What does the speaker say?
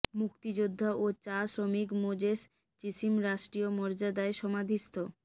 মুক্তিযোদ্ধা ও চা শ্রমিক মোজেস চিসিম রাষ্ট্রীয় মর্যাদায় সমাধিস্থ